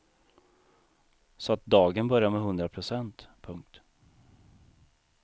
Så att dagen börjar med hundra procent. punkt